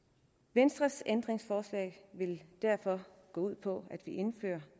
venstres ændringsforslag vil derfor gå ud på at vi indfører